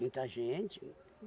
Muita gente.